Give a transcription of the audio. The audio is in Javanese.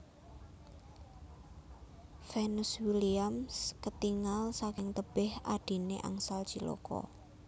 Venus Williams ketingal saking tebeh adhine angsal cilaka